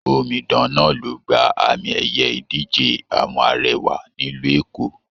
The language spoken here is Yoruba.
Omidan náà ló gbà àmi ẹyẹ ìdíje àwọn arẹwà nílu Eko